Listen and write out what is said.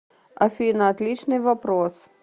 афина отличный вопрос